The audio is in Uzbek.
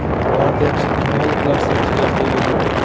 Gvardiyachi kinologlar sertifikatga ega bo‘ldi.